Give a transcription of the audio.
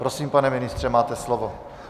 Prosím, pane ministře, máte slovo.